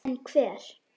En hver?